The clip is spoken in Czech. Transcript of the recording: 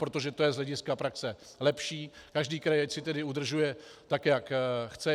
Protože to je z hlediska praxe lepší, každý kraj ať si tedy udržuje, tak jak chce.